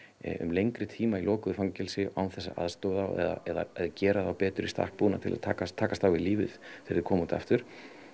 um lengri tíma í lokuðu fangelsi án þess að aðstoða þá eða gera þá betur í stakk búna til að takast takast á við lífið þegar þeir koma út aftur